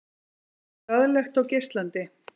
Glaðlegt og geislandi.